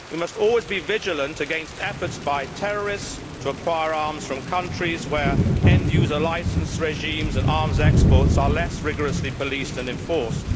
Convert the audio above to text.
We must always be vigilant against efforts by terrorists to acquire arms from countries where end user licence regimes and arms exports are less rigorously policed and enforced.